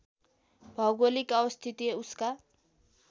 भौगोलिक अवस्थिति उसका